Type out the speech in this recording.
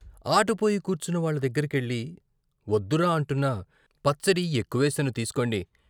ఆట పోయి కూర్చున్న వాళ్ళ దగ్గరకెళ్ళి వద్దురా అంటున్నా " పచ్చడి ఎక్కువేశాను తీసుకోండి.